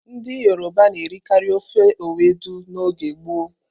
Ndị Yoroba na-erikarị ofe Ewedú n'oge gboo.